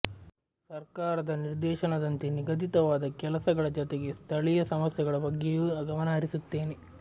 ಸರಕಾರದ ನಿರ್ದೇಶನದಂತೆ ನಿಗದಿತವಾದ ಕೆಲಸ ಗಳ ಜತೆಗೆ ಸ್ಥಳೀಯ ಸಮಸ್ಯೆಗಳ ಬಗ್ಗೆಯೂ ಗಮನ ಹರಿಸುತ್ತೇನೆ